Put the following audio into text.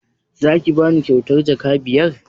Za ki bani kyautar jaka biyar?